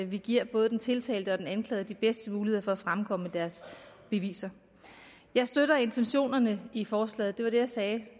vi giver både den tiltalte og den anklagede de bedste muligheder for at fremkomme med deres beviser jeg støtter intentionerne i forslaget det var det jeg sagde